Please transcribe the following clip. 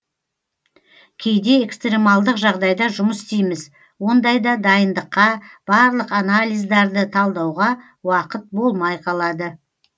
кейде экстремалдық жағдайда жұмыс істейміз ондайда дайындыққа барлық анализдарды талдауға уақыт болмай қалады